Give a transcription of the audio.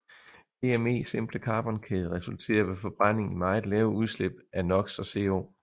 DME simple carbonkæde resulterer ved forbrænding i meget lave udslip af NOx og CO